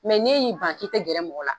n'e y'i ban k'i tɛ gɛrɛ mɔgɔ la.